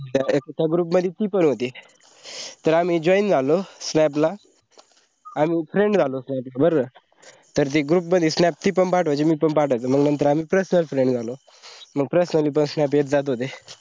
त्या group मदी ती पण होती. तर आम्ही join झालो snap ला अणी friend झालो तर बर तर group मदी snap ती पण पाठवायची मी पण पाठवायचो मग नंतर आम्ही personal friend झालो मंग personal snap येत जात होते.